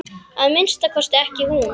Að minnsta kosti ekki hún.